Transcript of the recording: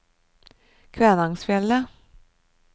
Kvænangsfjellet